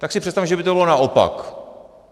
Tak si představme, že by to bylo naopak.